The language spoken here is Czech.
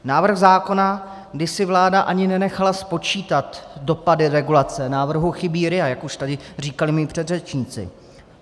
Návrh zákona, kdy si vláda ani nenechala spočítat dopady regulace, návrhu chybí RIA, jak už tady říkali mí předřečníci.